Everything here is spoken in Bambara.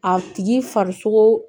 A tigi farisogo